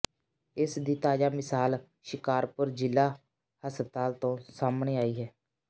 ਇਸ ਦੀ ਤਾਜ਼ਾ ਮਿਸਾਲ ਸ਼ਿਕਾਰਪੁਰ ਜ਼ਿਲ੍ਹਾ ਹਸਪਤਾਲ ਤੋਂ ਸਾਹਮਣੇ ਆਈ ਹੈ